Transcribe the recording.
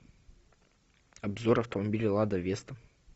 обзор автомобиля лада веста